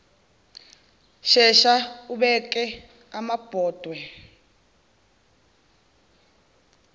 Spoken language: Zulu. shesha ubeke amabhodwe